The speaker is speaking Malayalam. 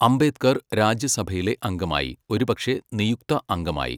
അംബേദ്കർ രാജ്യസഭയിലെ അംഗമായി, ഒരുപക്ഷേ നിയുക്ത അംഗമായി.